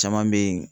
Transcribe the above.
Caman bɛ yen